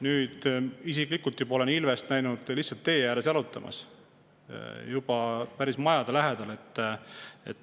Nüüd isiklikult olen ilvest näinud lihtsalt tee ääres jalutamas, juba päris majade lähedal.